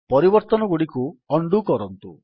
ପରିବର୍ତ୍ତନଗୁଡ଼ିକୁ undo କରନ୍ତୁ